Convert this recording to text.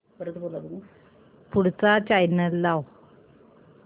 पुढचा चॅनल लाव